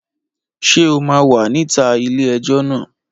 Ṣé o máa wà níta ilé ẹjọ́ náà?